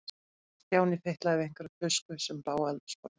Stjáni fitlaði við einhverja tusku sem lá á eldhúsborðinu.